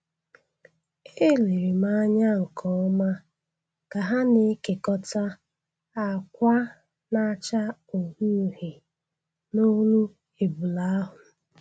E lere m anya nkeọma ka ha na-ekekọta ákwà na-acha uhie uhie n'olu ebule ahụ.